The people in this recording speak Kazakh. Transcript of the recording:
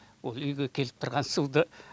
ол үйге келіп тұрған суды